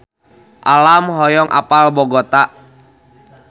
Alam hoyong apal Bogota